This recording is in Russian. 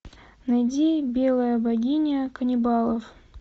найди белая богиня каннибалов